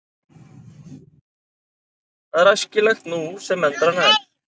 Það er æskilegt nú sem endranær.